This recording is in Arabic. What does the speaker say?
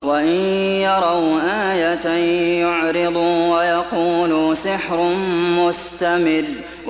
وَإِن يَرَوْا آيَةً يُعْرِضُوا وَيَقُولُوا سِحْرٌ مُّسْتَمِرٌّ